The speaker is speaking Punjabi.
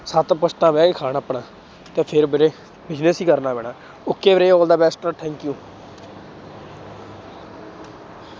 ਸੱਤ ਪੁਸ਼ਤਾਂ ਬਹਿ ਕੇ ਖਾਣ ਆਪਣਾ ਤਾਂ ਫਿਰ ਵੀਰੇ business ਹੀ ਕਰਨਾ ਪੈਣਾ okay ਵੀਰੇ all the best ਆ thank you